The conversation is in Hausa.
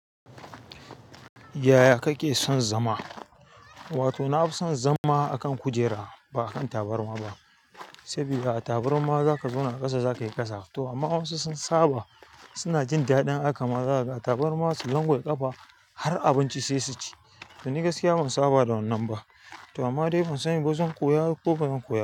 Yaya kake son zama? Wato na fi son zama a kan kujera ba a kan tabarma ba. Sabida taburma za ka zauna a ƙasa, za ka yi ƙasa. To amma wasu sun saba, suna jin daɗin haka ma. Zakaga a tabarma su langwaɓe ƙafa har abinci sai su ci. Da ni gaskiya ban saba da wannan ba. To amma dai ban sani ba zan koya ko bazan koya ba.